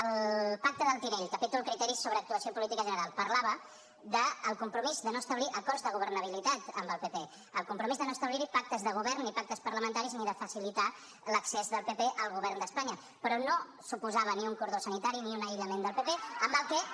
el pacte del tinell capítol criteris sobre actuació política general parlava del compromís de no establir acords de governabilitat amb el pp el compromís de no establir hi pactes de govern ni pactes parlamentaris ni de facilitar l’accés del pp al govern d’espanya però no suposava ni un cordó sanitari ni un aïllament del pp amb la qual cosa